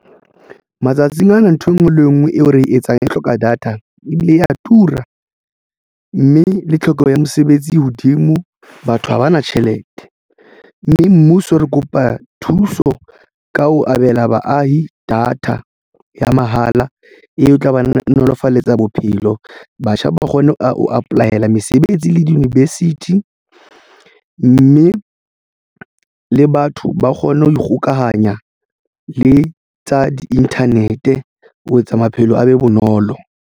Matsatsing ana nthwe ngwe le e nngwe eo re etsang e hloka data e bile ya tura mme le tlhokeho ya mosebetsi e hodimo. Batho ha ba na tjhelete mme mmuso re kopa thuso ka ho abela baahi data ya mahala e tlaba nolofaletsa bophelo. Batjha ba kgone ho apply-la mesebetsi le di-university mme le batho ba kgone ho kgokahanya le tsa di-internet ho etsa maphelo a be bonolo.